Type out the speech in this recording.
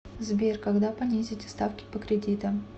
сбер когда понизите ставки по кредитам